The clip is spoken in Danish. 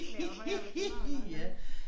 Bliver jo højere og tyndere eller et eller andet